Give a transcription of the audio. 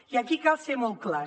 i aquí cal ser molt clars